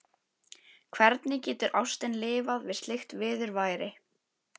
Hvernig getur ástin lifað við slíkt viðurværi?